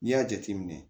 N'i y'a jateminɛ